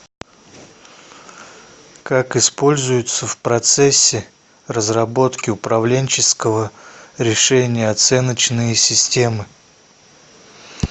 как используются в процессе разработки управленческого решения оценочные системы